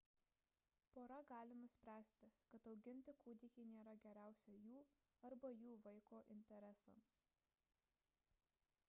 pora gali nuspręsti kad auginti kūdikį nėra geriausia jų arba jų vaiko interesams